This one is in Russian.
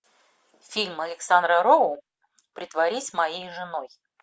фильм александра роу притворись моей женой